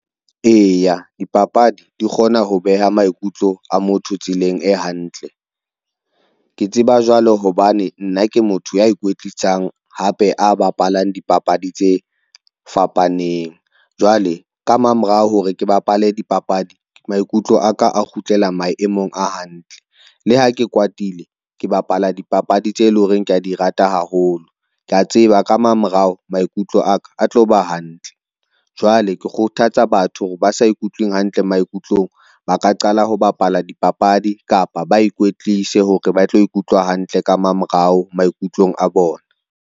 Eya, dipapadi di kgona ho beha maikutlo a motho tseleng e hantle. Ke tseba jwalo hobane nna ke motho ya e kwetlisang hape a bapalang dipapadi tse fapaneng. Jwale ka mamorao hore ke bapale dipapadi maikutlo aka a kgutlela maemong a hantle. Le ha ke kwatile ke bapala dipapadi tse leng hore kea di rata haholo. Kea tseba ka mamorao, maikutlo a ka a tlo ba hantle jwale ke kgothatsa batho hore ba sa ikutlweng hantle maikutlong, ba ka qala ho bapala dipapadi kapa ba ikwetlise hore ba tlo ikutlwa hantle ka mamorao maikutlong a bona.